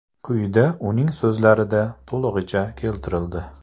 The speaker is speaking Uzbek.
Quyida uning so‘zlarida to‘lig‘icha keltirildi.